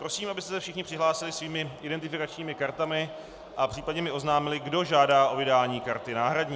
Prosím, abyste se všichni přihlásili svými identifikačními kartami a případně mi oznámili, kdo žádá o vydání karty náhradní.